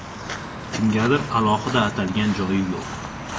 Kimgadir alohida atalgan joyi yo‘q.